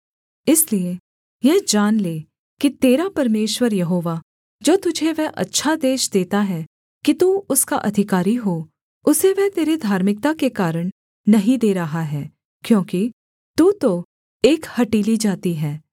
इसलिए यह जान ले कि तेरा परमेश्वर यहोवा जो तुझे वह अच्छा देश देता है कि तू उसका अधिकारी हो उसे वह तेरे धार्मिकता के कारण नहीं दे रहा है क्योंकि तू तो एक हठीली जाति है